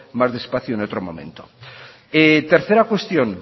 más despacio en otro momento tercera cuestión